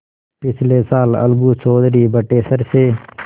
पिछले साल अलगू चौधरी बटेसर से